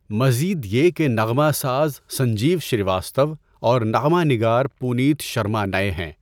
مزید یہ کہ نغمہ ساز سنجیو سریواستو اور نغمہ نگار پونیت شرما نئے ہیں۔